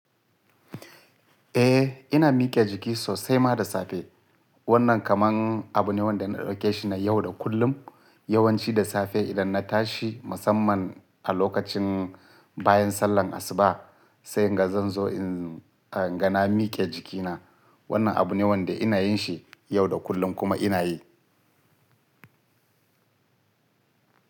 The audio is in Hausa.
Eh ina mike jiki sosai ma da safe. Wannan kamar abu ne wanda na ɗauke shi na yau da kullum. Yawanci da safe idan na tashi musamman a lokacin bayan sallar asuba sai nga zan zo in nga na mike jikina. Wannan abu ne wanda ina yin shi yau da kullum kuma ina yi.